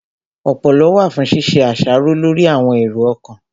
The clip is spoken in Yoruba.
Ọpọlọ wà fún ṣíṣe àṣàrò lórí àwọn èrò ọkàn